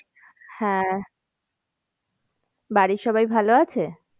হ্যাঁ বাড়ির সবাই ভালো আছে?